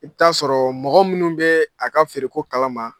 I bɛ t'a sɔrɔ mɔgɔ minnu bɛ a ka feereko in kalama